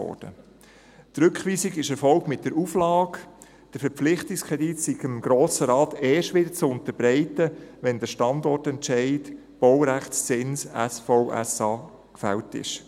Die Rückweisung erfolgte mit der Auflage, der Verpflichtungskredit sei dem Grossen Rat erst wieder zu unterbreiten, wenn der Standortentscheid Baurechtszins SVSA gefällt sei.